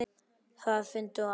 Það fundu allir.